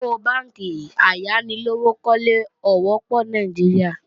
Àwọn bánkì ayánilówókọ́lé ò wọ́pọ̀ ní Nàìjíríà